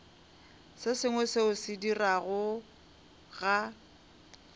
se sengwe seo se diregago